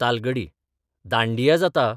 तालगडी दांडिया जाता ,